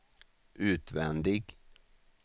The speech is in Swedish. utvändig